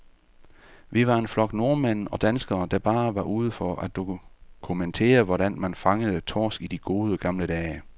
Vi var en flok nordmænd og danskere, der bare var ude for at dokumentere, hvordan man fangede torsk i de gode, gamle dage.